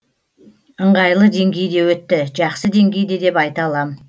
ыңғайлы деңгейде өтті жақсы деңгейде деп айта алам